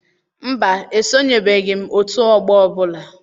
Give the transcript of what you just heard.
Mba, esonyebeghị m ótù ọgbọ ọbụla.